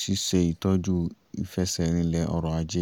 ṣíṣe ìtọ́jú ìfẹsẹ̀rinlẹ̀ ọrọ̀ ajé